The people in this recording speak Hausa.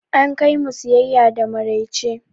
An kai mu siyaya da maraice.